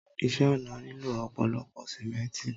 Ìṣe ọ̀nà nílò ọ̀pọ̀lọpọ̀ Símẹ́ǹtì.